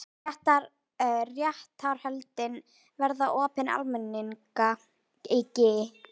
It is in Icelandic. Réttarhöldin verða opin almenningi